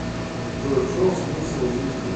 джой в чем смысл жизни